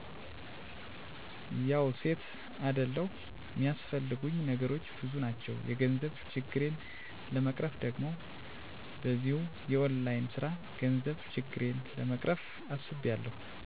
ያዉ ሴት አደለዉ ሚያስፈልጉኝ ነገሮች ብዙ ናቸዉ የገንዘብ ችግሬን ለመቅረፍ ደግሞ በዚሁ የonline ስራ የገንዘብ ችግሬን ለመቅረፍ አስቤያለዉ